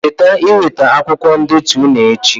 Cheta iweta akwụkwọ ndetu ụnụ echi